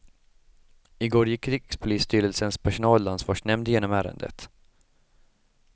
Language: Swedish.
I går gick rikspolisstyrelsens personalansvarsnämnd igenom ärendet.